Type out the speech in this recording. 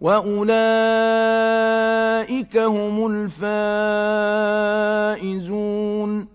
وَأُولَٰئِكَ هُمُ الْفَائِزُونَ